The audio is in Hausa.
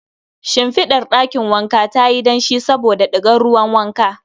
Shinfidar ɗakin wanka tayi danshi saboda digar ruwan wanka